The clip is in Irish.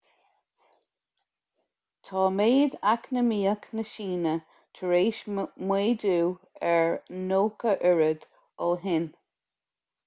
tá méid eacnamaíoch na síne tar éis méadú a 90 oiread ó shin